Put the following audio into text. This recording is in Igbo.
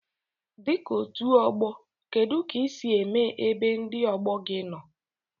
Dika otu ogbo kedu ka isi eme ebe ndi ogbogi nno?